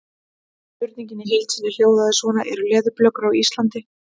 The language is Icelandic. Spurningin í heild sinni hljóðaði svona: Eru leðurblökur á Íslandi?